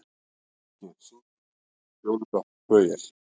Ísgeir, syngdu fyrir mig „Fjólublátt flauel“.